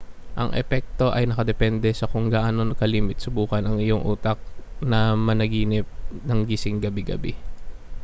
ang epekto ay nakadepende sa kung gaano kalimit subukan ng iyong utak na managinip ng gising gabi-gabi